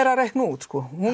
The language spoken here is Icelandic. að reikna út